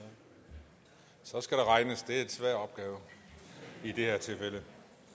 så skal der regnes det er en svær opgave i det her tilfælde